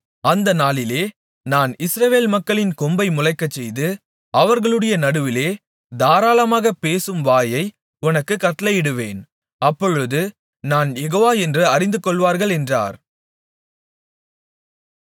அந்த நாளிலே நான் இஸ்ரவேல் மக்களின் கொம்பை முளைக்கச்செய்து அவர்களுடைய நடுவிலே தாராளமாகப் பேசும் வாயை உனக்குக் கட்டளையிடுவேன் அப்பொழுது நான் யெகோவா என்று அறிந்து கொள்வார்கள் என்றார்